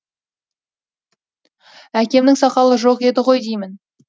әкемнің сақалы жоқ еді ғой деймін